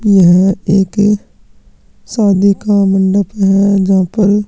यह एक शादी का मंडप है जहाँ पर --